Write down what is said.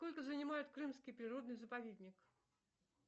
сколько занимает крымский природный заповедник